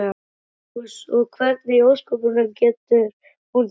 Magnús: Og hvernig í ósköpunum getur hún þetta?